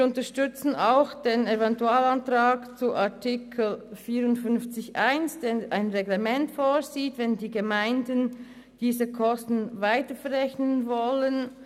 Wir unterstützen auch den Eventualantrag zu Artikel 54 Absatz 1, der ein Reglement vorsieht, wenn die Gemeinden diese Kosten weiter verrechnen wollen.